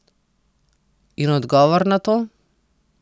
In odgovor na to?